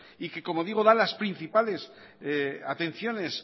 y que como digo da las principales atenciones